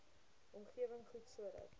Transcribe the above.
omgewing goed sodat